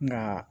Nka